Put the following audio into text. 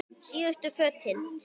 Síðustu fötin.